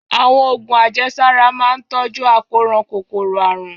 Àwọn oògùn àjẹsára máa ń tọ́jú àkóràn kòkòrò àrùn